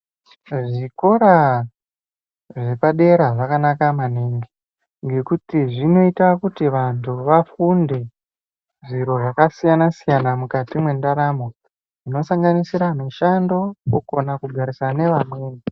Zvikora zvepadera zvakanaka maningi ngekuti zvinoita kuti vantu vafunde zviro zvakasiyana-siyana mukati mwendaramo. Zvinosanganisira mishando kukona kugarisana nevamweni.